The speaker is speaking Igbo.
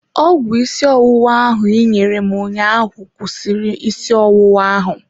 Ọgwụ isi ọwụwa ahụ ị nyere m ụnyaahụ kwụsịrị isi ọwụwa ahụ.